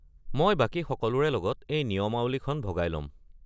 মই বাকী সকলোৰে লগত এই নিয়মাৱলীখন ভগাই ল’ম